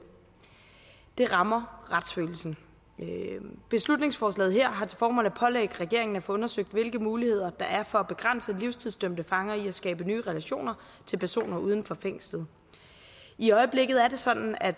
det rammer retsfølelsen beslutningsforslaget her har til formål at pålægge regeringen at få undersøgt hvilke muligheder der er for at begrænse livstidsdømte fanger i at skabe nye relationer til personer uden for fængslet i øjeblikket er det sådan at